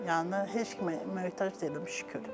Yəni heç kimə möhtac deyiləm şükür.